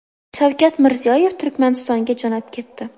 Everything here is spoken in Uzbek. Shavkat Mirziyoyev Turkmanistonga jo‘nab ketdi.